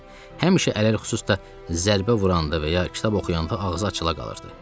Həmişə ələlxüsus da zərbə vuranda və ya kitab oxuyanda ağzı açıla qalırdı.